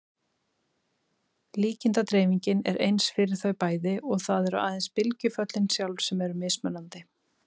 Líkindadreifingin er eins fyrir þau bæði og það eru aðeins bylgjuföllin sjálf sem eru mismunandi.